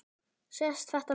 Sést þetta mikið?